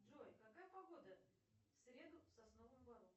джой какая погода в среду в сосновом бору